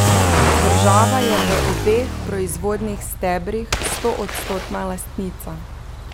Država je v obeh proizvodnih stebrih stoodstotna lastnica.